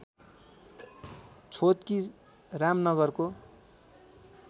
छोतकी रामनगरको